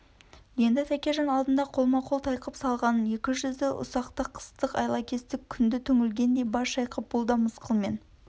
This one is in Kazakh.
енді тәкежан алдында қолма-қол тайқып салғанын екі жүзді ұсақтақыстықайлакестік көрді түңілгендей бас шайқап бұл да мысқылмен